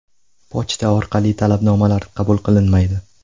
Pochta orqali talabnomalar qabul qilinmaydi.